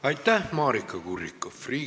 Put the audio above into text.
Aitäh, Maarika Kurrikoff!